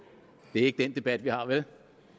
det er ikke den debat vi har vel